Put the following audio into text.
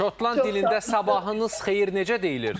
Şotland dilində sabahınız xeyir necə deyilir?